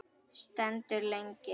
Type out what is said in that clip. Stendur lengi.